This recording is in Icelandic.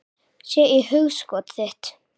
Sé í hugskot þitt.